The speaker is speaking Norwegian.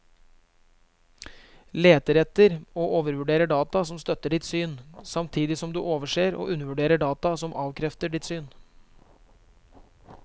Leter etter og overvurderer data som støtter ditt syn, samtidig som du overser og undervurderer data som avkrefter ditt syn.